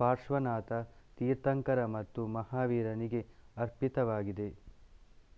ಪಾರ್ಶ್ವನಾಥ ತೀರ್ಥಂಕರ ಮತ್ತು ಮಹಾವೀರನಿಗೆ ಅರ್ಪಿತವಾಗಿವೆ